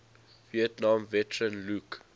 vietnam veteran luke